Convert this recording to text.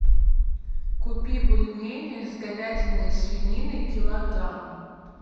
купи бульмени с говядиной и свининой килограмм